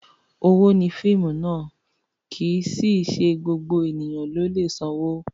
Owó ni fíìmù ná, kì í sì í ṣe gbogbo ènìyàn ló lè sanwó.